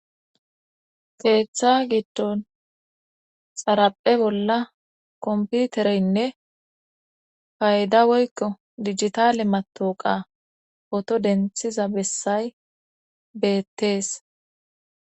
keeththa giddon xaraphe bolla komputereynne fayda woykko digitale matoqa oto denthiza bessay beettees